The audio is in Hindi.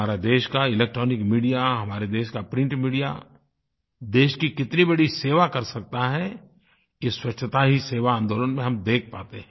हमारे देश का इलेक्ट्रॉनिक मीडिया हमारे देश का प्रिंट मीडिया देश की कितनी बड़ी सेवा कर सकता है ये स्वच्छता ही सेवा आंदोलन में हम देख पाते हैं